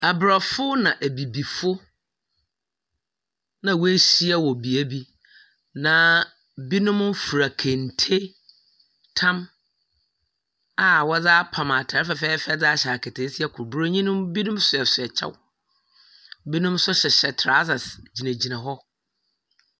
Aborɔfo na Ebibifo na woehyia wɔ beebi, na binom fura kente, tam a wɔdze apam atar fɛfɛɛfɛ dze ahyɛ akataasia kor. Borɔnyi no binom soasoa kyɛw, binom so hyehyɛ trousers gyinagyina hɔ.